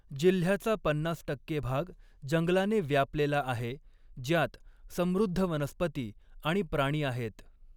जिल्ह्याचा पन्नास टक्के भाग जंगलाने व्यापलेला आहे, ज्यात समृद्ध वनस्पती आणि प्राणी आहेत.